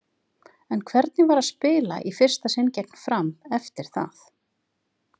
En hvernig var að spila í fyrsta sinn gegn Fram eftir það?